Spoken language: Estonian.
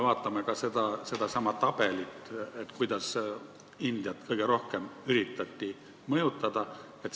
Vaatame kas või sedasama tabelit: kõige rohkem üritati mõjutada Indiat.